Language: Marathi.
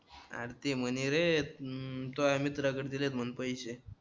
अरे ते म्हणे रे हम्म तुझ्या मित्राकडे दिलेत म्हणे पैसे